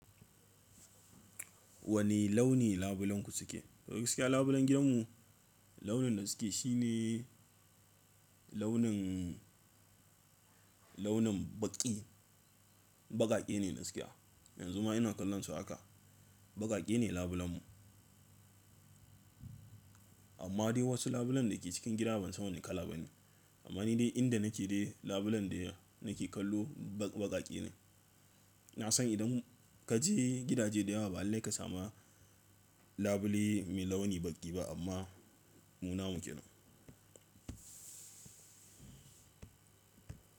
Wane launi labulenku suke? Gaskiya labulen gidanmu launin da suke shi ne launin, launin baƙi. Baƙaƙe ne gaskiya. Yanzu ma ina kallon su haka. Baƙaƙe ne labulen mu. Amma dai wasu labulen da ke cikin gida ban san wane kala ba ne. Amma ni dai inda nake dai labulen da nake kallon baƙaƙe ne. Na san idan ka je gidaje da yawa ba alli ka samu labule mai launi baƙi ba amma mu na mu kenan.